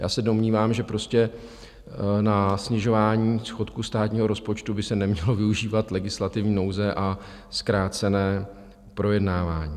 Já se domnívám, že prostě na snižování schodku státního rozpočtu by se nemělo využívat legislativní nouze a zkrácené projednávání.